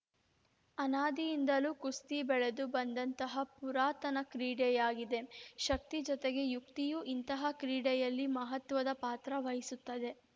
ಅನಾದಿಯಿಂದಲೂ ಕುಸ್ತಿ ಬೆಳೆದು ಬಂದಂತಹ ಪುರಾತನ ಕ್ರೀಡೆಯಾಗಿದೆ ಶಕ್ತಿ ಜೊತೆಗೆ ಯುಕ್ತಿಯೂ ಇಂತಹ ಕ್ರೀಡೆಯಲ್ಲಿ ಮಹತ್ವದ ಪಾತ್ರ ವಹಿಸುತ್ತದೆ